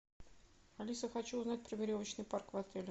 алиса хочу узнать про веревочный парк в отеле